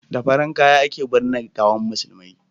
da farar kaya a ke binne gawan musulmai